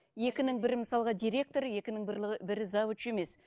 екінің бірі мысалға директор екінің бірі завуч емес